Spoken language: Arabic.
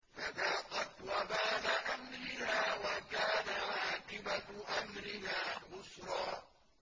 فَذَاقَتْ وَبَالَ أَمْرِهَا وَكَانَ عَاقِبَةُ أَمْرِهَا خُسْرًا